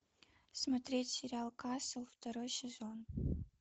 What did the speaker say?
смотреть сериал касл второй сезон